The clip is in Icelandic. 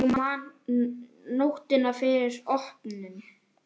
Ég man nóttina fyrir opnun.